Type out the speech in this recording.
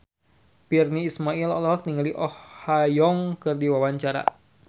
Virnie Ismail olohok ningali Oh Ha Young keur diwawancara